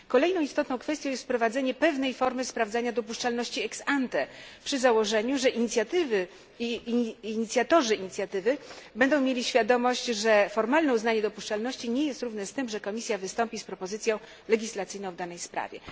Kolejną istotną kwestią jest wprowadzenie pewnej formy sprawdzania dopuszczalności ex ante przy założeniu, że inicjatywy i inicjatorzy inicjatyw będą mieli świadomość, że formalne uznanie dopuszczalności nie jest równe z tym, że Komisja wystąpi z propozycją legislacyjną w danej sprawie.